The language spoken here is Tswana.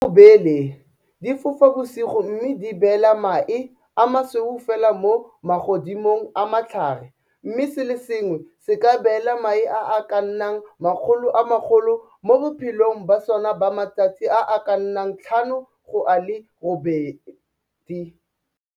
Dirurubele di fofa bosigo mme di beela mae a masweu fela mo magodimong a matlhare mme se le sengwe se ka beela mae a a ka nnang 10 000 mo bophelong ba sona ba matsatsi a a ka nnang 5 go a le 8.